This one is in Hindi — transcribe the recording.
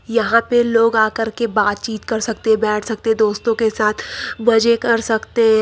यहां पे लोग आकर के बातचीत कर सकते हैं बैठ सकते दोस्तों के साथ मजे कर सकते हैं।